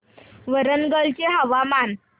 वरंगल चे हवामान